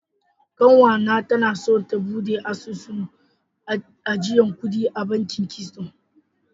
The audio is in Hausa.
Kasuwa na ta na so ta bude asusun ajiyan kudi a bankin "keystone ".